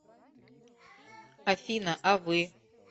афина а вы